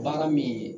Baara min ye